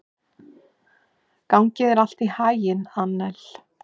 Gangi þér allt í haginn, Annel.